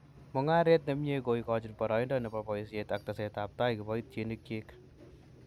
Mungaret ne mie ko ikochin boroindo ne bo boisiet ak tesetab tai kiboitinikyik